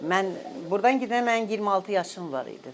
Mən burdan gedəndə mənim 26 yaşım var idi.